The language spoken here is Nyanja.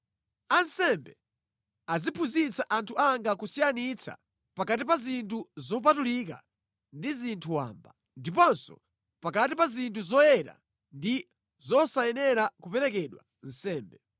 Ansembe aziphunzitsa anthu anga kusiyanitsa pakati pa zinthu zopatulika ndi zinthu wamba, ndiponso pakati pa zinthu zoyenera ndi zosayenera kuperekedwa nsembe.